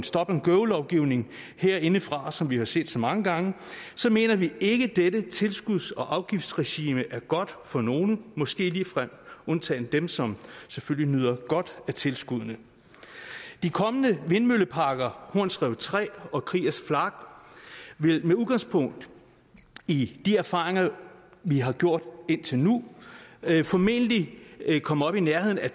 stop and go lovgivning herindefra som vi har set så mange gange så mener vi ikke at dette tilskuds og afgiftsregime er godt for nogen måske undtaget dem som selvfølgelig nyder godt af tilskuddene de kommende vindmølleparker horns rev tre og kriegers flak vil med udgangspunkt i de erfaringer vi har gjort indtil nu formentlig komme op i nærheden af